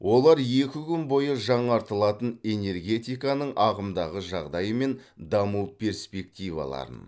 олар екі күн бойы жаңартылатын энергетиканың ағымдағы жағдайы мен даму перспективаларын